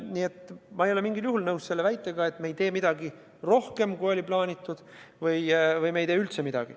Nii et ma ei ole mingil juhul nõus väitega, et me ei tee midagi rohkemat, kui oli plaanitud, või et me ei tee üldse midagi.